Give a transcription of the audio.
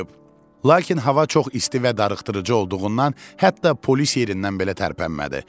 Lakin hava çox isti və darıxdırıcı olduğundan hətta polis yerindən belə tərpənmədi.